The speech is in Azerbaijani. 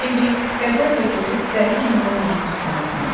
Bembi qəzəblə coşub dəli kimi Rononun üstünə cumdu.